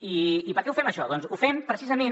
i per què ho fem això doncs ho fem precisament